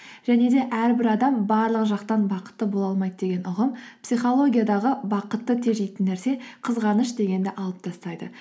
және де әрбір адам барлық жақтан бақытты бола алмайды деген ұғым психологиядағы бақытты тежейтін нәрсе қызғаныш дегенді алып тастайды